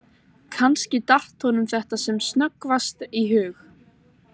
Kannski, datt honum sem snöggvast í hug